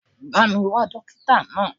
Bá mi wá dókítà náà.